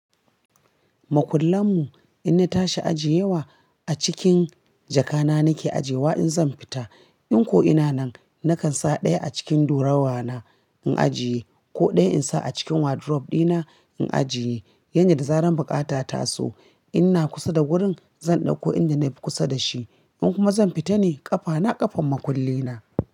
Makullanmu in na tashi ajiye wa a cikin jaka na nake ajiye wa in zan fita. In ko'ina nan na kan sa ɗaya a cikin dorawa na in ajiye ko ɗaya in sa a cikin wardrobe dina in ajiye. Yandu da zarar bukata ta taso, ina kusa da gurin zan ɗauko inda na fi kusa da shi. In kuma zan fita ne ƙafa na ƙafan makulli na.